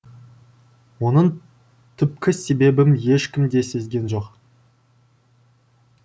оның түпкі себебін ешкім де сезген жоқ